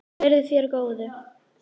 Verði þér að góðu.